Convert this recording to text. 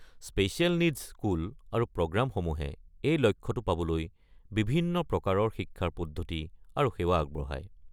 Special needs school আৰু প্ৰগ্ৰামসমূহে এই লক্ষ্যটো পাবলৈ বিভিন্ন প্ৰকাৰৰ শিক্ষাৰ পদ্ধতি আৰু সেৱা আগবঢ়ায়।